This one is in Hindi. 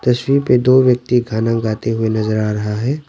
तस्वीर पे दो व्यक्ति गाना गाते हुए नजर आ रहा है।